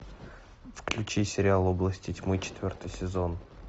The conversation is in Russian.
включи сериал области тьмы четвертый сезон